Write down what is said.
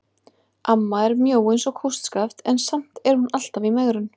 Amma er mjó eins og kústskaft en samt er hún alltaf í megrun.